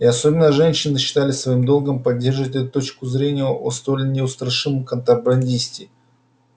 и особенно женщины считали своим долгом поддерживать эту точку зрения о столь неустрашимом контрабандисте